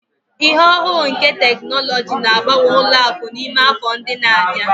Ihe ohuru nke teknụzụ ga-agbanwe ụlọ akụ n'ime afọ ndị na-abịa.